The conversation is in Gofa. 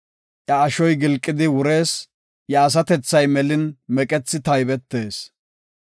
Iya ashoy gilqidi wurees; iya asatethay melin meqethi taybetees.